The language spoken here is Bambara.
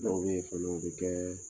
Dɔw bɛ yen fana o bɛ kɛ